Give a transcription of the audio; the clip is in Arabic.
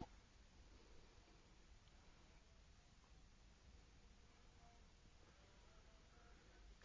۞